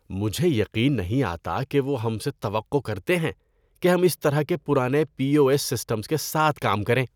مجھے یقین نہیں آتا کہ وہ ہم سے توقع کرتے ہیں کہ ہم اس طرح کے پرانے پی او ایس سسٹمز کے ساتھ کام کریں۔